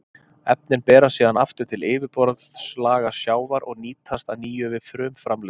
Efnin berast síðan aftur til yfirborðslaga sjávar og nýtast að nýju við frumframleiðslu.